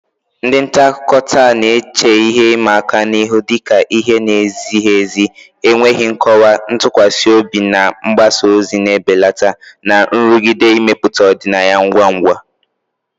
Ndị nta akụkọ taa na-eche ihe ịma aka ihu dị ka ihe na-ezighi ezi, enweghị nkọwa, ntụkwasị obi na mgbasa ozi na-ebelata, na nrụgide imepụta ọdịnaya ngwa ngwa.